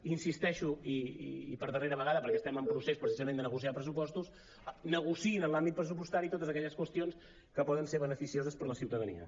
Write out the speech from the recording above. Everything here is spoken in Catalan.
hi insisteixo i per darrera vegada perquè estem en procés precisament de negociar pressupostos negociïn en l’àmbit pressupostari totes aquelles qüestions que poden ser beneficioses per a la ciutadania